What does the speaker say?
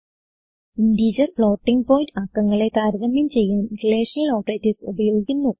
integer floating point അക്കങ്ങളെ താരതമ്യം ചെയ്യാൻ റിലേഷണൽ ഓപ്പറേറ്റർസ് ഉപയോഗിക്കുന്നു